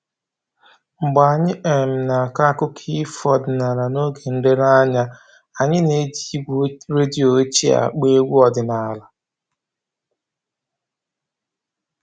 Mgbe anyị um na-akọ akụkọ ifo ọdịnaala n'oge nlereanya a, anyị na-eji igwe redio ochie akpọ egwu ọdịnaala